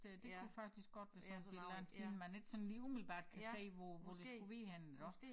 Øh det kunne faktisk godt være sådan sådan en eller anden ting man ikke sådan lige umiddelbart kan se hvor hvor det skulle være henne iggå